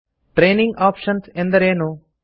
training options ಎಂದರೇನು